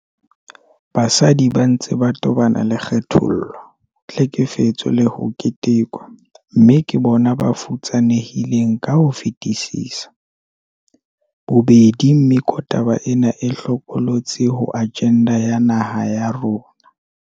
Basadi ba ntse ba tobana le kgethollo, tlhekefetso le ho ketekwa, mme ke bona ba futsanehileng ka ho fetisisa. Bobedi mekotaba ena e hlokolotsi ho ajenda ya naha ya rona.